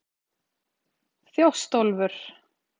Þjóstólfur